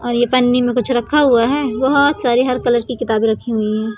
और ये पन्नी में कुछ रखा हुआ है। बहोत सारी हर कलर की किताबे रखी हुई है।